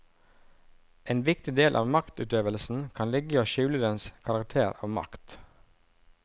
En viktig del av maktutøvelsen kan ligge i å skjule dens karakter av makt.